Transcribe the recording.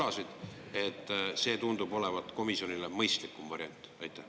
Miks see tundub olevat komisjonile mõistlikum variant?